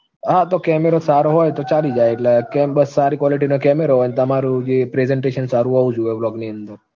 હા તો camera સારો હોય તો ચાલી જાય. એટલે બસ સારી quality નો camera હોય, તમારું જે presentation સારું હોવું જોઈએ blog ની અંદર